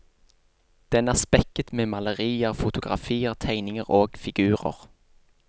Den er spekket med malerier, fotografier, tegninger og figurer.